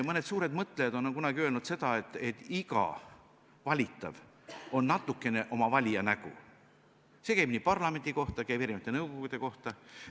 Mõned suured mõtlejad on kunagi öelnud seda, et iga valitav on natukene oma valija nägu – see käib parlamendi kohta, käib erisuguste nõukogude kohta.